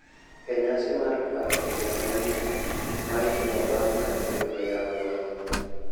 E nyasi mar paro higa manyien, ma itimo bang' ka dwe oyawo wang`e.